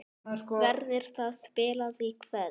Verður það spilað í kvöld?